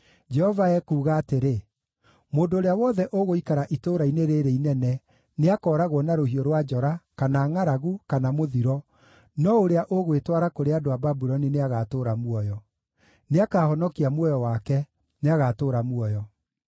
“Jehova ekuuga atĩrĩ: ‘Mũndũ ũrĩa wothe ũgũikara itũũra-inĩ rĩĩrĩ inene nĩakooragwo na rũhiũ rwa njora, kana ngʼaragu, kana mũthiro, no ũrĩa ũgwĩtwara kũrĩ andũ a Babuloni nĩagatũũra muoyo. Nĩakahonokia muoyo wake; nĩagatũũra muoyo.’